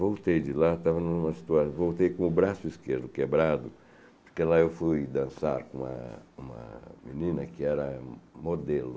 Voltei de lá, estava numa situa, voltei com o braço esquerdo quebrado, porque lá eu fui dançar com uma com uma menina que era modelo.